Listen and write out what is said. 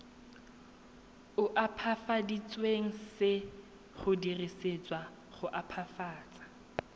opafaditsweng se dirisetswa go opafatsa